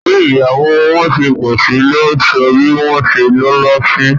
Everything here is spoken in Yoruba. Bí ìyàwó wọn ṣe pọ̀sí ló sọ bí wọ́n ṣe lọ́la sí